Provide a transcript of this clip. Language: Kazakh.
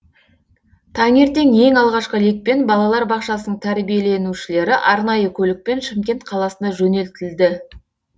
таңертең ең алғашқы лекпен балалар бақшасының тәрбиленушілері арнайы көлікпен шымкент қаласына жөнелтілді